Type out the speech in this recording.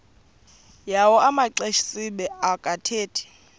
yawo amaxesibe akathethi